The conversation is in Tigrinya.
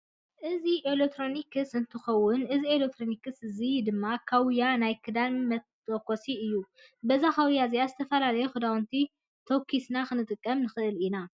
እዚ ኤሌክትሮኒክስ እንትከውን እዚ ኤለክትኒክስ እዚ ድም ካውያ ናይ ክዳን መተኮሲ እዩ። በዛ ካውያ እዚኣ ዝተፈላለዩ ክዳውንትና ተኩስና ክነቅምጥ ንክእል ኢና ።